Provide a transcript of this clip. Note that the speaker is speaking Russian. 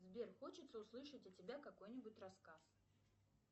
сбер хочется услышать от тебя какой нибудь рассказ